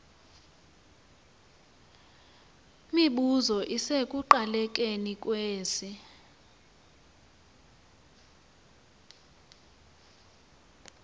mibuzo isekuqalekeni kwesi